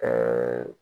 Ɛɛ